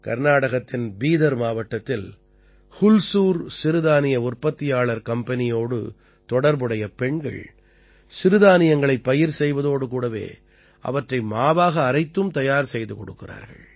கர்நாடகத்தின் பீதர் மாவட்டத்தில் ஹுல்சூர் சிறுதானிய உற்பத்தியாளர் கம்பெனியோடு தொடர்புடைய பெண்கள் சிறுதானியங்களைப் பயிர் செய்வதோடு கூடவே அவற்றை மாவாக அரைத்தும் தயார் செய்து கொடுக்கிறார்கள்